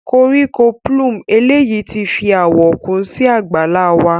Koriko plume eleyi ti fi awọ kun si àgbàlá wa.